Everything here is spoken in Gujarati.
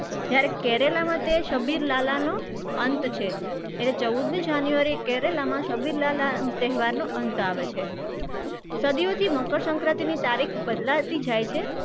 જયારે કેરાલામાં તે શબ્બીર લાલાનો અંત છે એટલે ચૌદમી january એ કેરાલામાં શબ્બીર લાલા તહેવારનો અંત આવે છે. સદિયોથી મકરસંક્રાંતિની તારીખ બદલાતી જાય છે.